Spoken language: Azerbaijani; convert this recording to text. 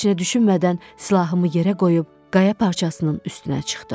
Heç nə düşünmədən silahımı yerə qoyub qaya parçasının üstünə çıxdım.